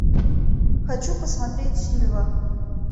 хочу посмотреть сильва